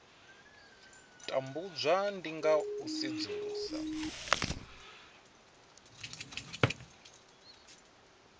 tambudzwa ndi nga u sedzulusa